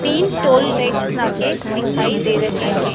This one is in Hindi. तीन टोल टैक्स नाके दिखाई दे रहे हैं।